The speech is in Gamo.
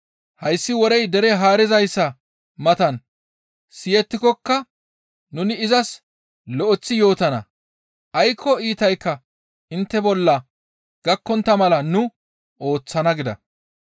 Hayssi worey dere haarizayssa matan siyettikokka nuni izas lo7eththi yootana; aykko iitaykka intte bolla gakkontta mala nu ooththana» gida.